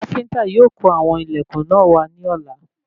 Káfíntà yóò kó àwọn ilẹkùn náà wà ní ọ̀la